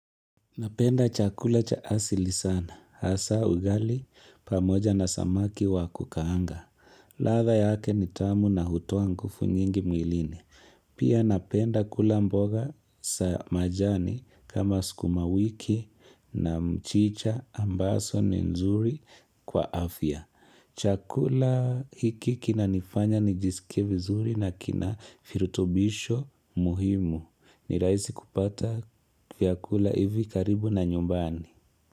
Napenda chakula cha asili sana. Hasa ugali pamoja na samaki wa kukaanga. Ladha yake ni tamu na hutoa nguvu nyingi mwilini. Pia napenda kula mboga za majani kama sukuma wiki na mchicha ambazo ni nzuri kwa afya. Chakula hiki kinanifanya nijisike vizuri na kina virutubisho muhimu. Ni rahisi kupata vyakula hivi karibu na nyumbani.